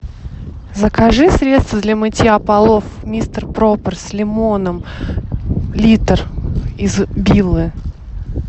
закажи средство для мытья полов мистер пропер с лимоном литр из биллы